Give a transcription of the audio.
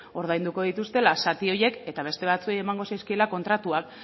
ordainduko dituztela zati horiek eta beste batzuei emango zaizkiela kontratuak